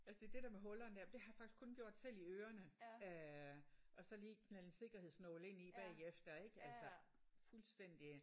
Altså det er det der med hullerne der det har jeg faktisk kun gjort selv i ørerne øh og så lige knalde en sikkerhedsnål ind i bagefter ik? Altså fuldstændig øh